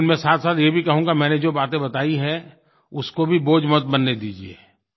लेकिन मैं साथसाथ ये भी कहूँगा मैंने जो बातें बताई हैं उसको भी बोझ मत बनने दीजिए